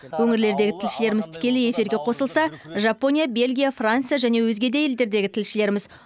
өңірлердегі тілшілеріміз тікелей эфирге қосылса жапония белгия франция және өзге де елдердегі тілшілеріміз